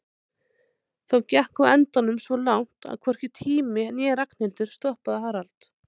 Þó gekk á endanum svo langt að hvorki tími né Ragnhildur stoppaði Harald.